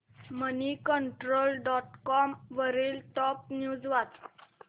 Moneycontrol dot com वरील top news वाच